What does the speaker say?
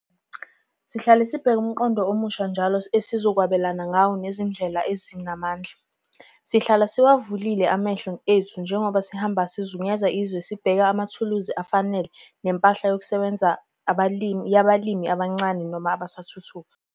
Sihlale sibheka umqondo omusha njalo esizokwabelana ngawo nezinye izindlela ezinamandla. Sihlala siwavulile amehlo ethu njengoba sihamba sizungeza izwe sibheka amathuluzi afanele nempahla yokusebenza yabalimi abancane noma abasathuthuka.